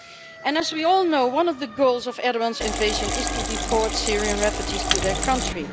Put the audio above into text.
And as we all know one of the goals of Erdoğan's invasion is to deport Syrian refugees to their country.